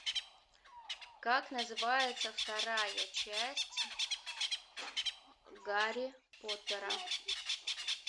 как называется вторая часть гарри поттера